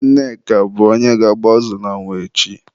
Nneka bụ onye ga-agba azụ n'anwụ echi.